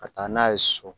Ka taa n'a ye so